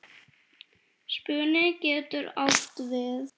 Spuni getur átt við